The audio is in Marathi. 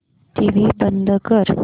टीव्ही बंद कर